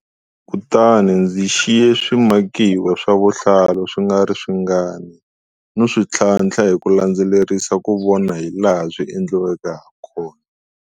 Kutani ndzi xiye swimakiwa swa vuhlalu swi nga ri swingani no swi tlhantlha hi ku landzelerisa ku vona hilaha swi endliweke hakona.